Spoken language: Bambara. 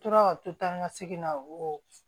Tora ka to tan ni ka segin na wo